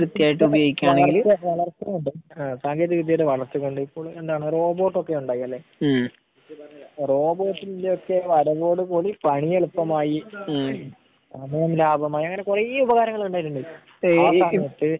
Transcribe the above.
അല്ലെങ്കിൽ ഏഹ് സാങ്കേന്തിക വിദ്യയുടെ വളർച്ച കൊണ്ട് കൊണ്ടാണ് റോബോർട്ട് ഒക്കെ ഉണ്ടാക്കാ അല്ലേ? റോബോർട്ടിന്റെ ഒക്കെ വരവോട് കൂടി പണി എളുപ്പമായി ഏഹ് അത് അങ്ങനെ ലാഭമായി അങ്ങനെ കുറേ ഉപകാരങ്ങൾ ഉണ്ടായിട്ടുണ്ട്.